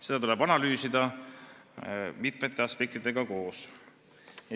Seda tuleb analüüsida, arvestades mitut aspekti.